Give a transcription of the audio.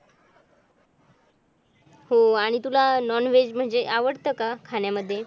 हो आणि तुला नॉनव्हेज म्हणजे काय आवडतं का खाण्यामध्ये?